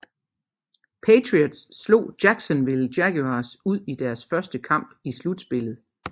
Patriots slog Jacksonville Jaguars ud i deres første kamp i slutspillet